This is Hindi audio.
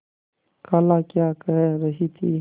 खाला क्या कह रही थी